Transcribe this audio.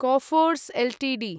Coforge Ltd